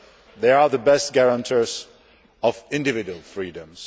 They are the best guarantors of individual freedoms.